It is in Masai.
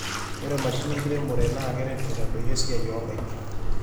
Ore mashinini enkiremore naa keret aitadoyio esiai onkaik.